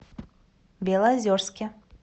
белозерске